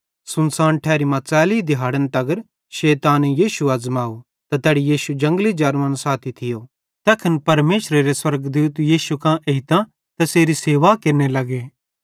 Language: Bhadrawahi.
सुनसान ठैरी मां च़ैली दिहाड़न तगर शैताने यीशु अज़माव त तैड़ी यीशु जंगली जानवरन साथी थियो तैखन परमेशरेरे स्वर्गदूत यीशु कां एइतां तैसेरी सेवा केरने लग्गे